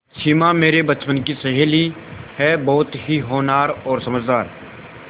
सिमा मेरे बचपन की सहेली है बहुत ही होनहार और समझदार